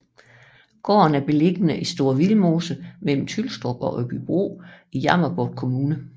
Gården er beliggende i Store Vildmose mellem Tylstrup og Åbybro i Jammerbugt Kommune